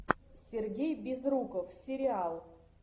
сергей безруков сериал